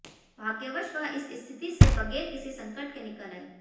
भाग्यवश वह इस स्थिति से बगैर किसी संकट के निकल आई